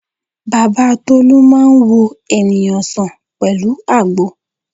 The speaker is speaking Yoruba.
Bàbá Tolú máa ń wo ènìyàn sàn pẹ̀lú àgbo